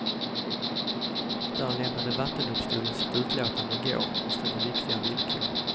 Där lämnade vattendomstolen sitt utlåtande i går och ställer viktiga villkor.